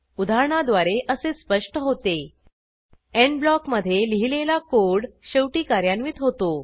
उदाहरणाद्वारे असे स्पष्ट होते एंड ब्लॉकमधे लिहिलेला कोड शेवटी कार्यान्वित होतो